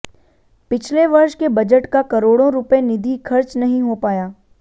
पिछले वर्ष के बजट का करोड़ों रुपए निधि खर्च नहीं हो पाया